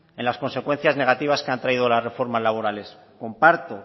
en las consecuencias negativas que han traído las reformas laborales comparto